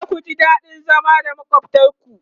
zaku ji daɗin zama da makwaftan ku